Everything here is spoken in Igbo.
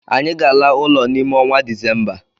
Anyị ga ala ụlọ n'ime onwa December.